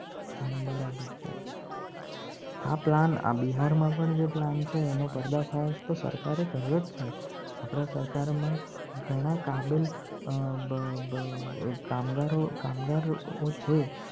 બરાબર છે. આ પ્લાન આ બિહારમાં પણ જેટલા છે. એનો પડદા ફાસ તો સરકારે કર્યો છે. આપણા સરકારમાં ઘણા કાબિલ કામદારો છે.